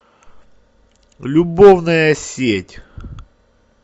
любовная сеть